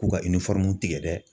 K'u ka tigɛ dɛ